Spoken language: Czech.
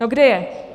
No, kde je?